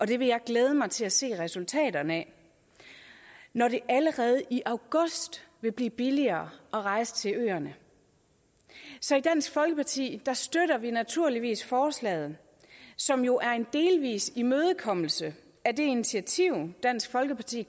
det vil jeg glæde mig til at se resultaterne af når det allerede i august vil blive billigere at rejse til øerne så i dansk folkeparti støtter vi naturligvis forslaget som jo er en delvis imødekommelse af det initiativ dansk folkeparti